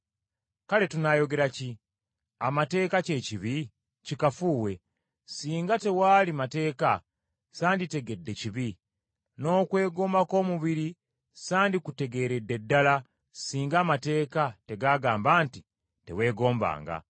Kale tunaayogera ki? Amateeka kye kibi? Kikafuuwe. Singa tewaali mateeka, sanditegedde kibi. N’okwegomba kw’omubiri sandikutegeeredde ddala singa amateeka tegaagamba nti, “Teweegombanga.”